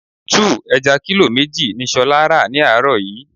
2. Ẹja kílò méjì ni ṣolá ra ni àárọ̀ yìí.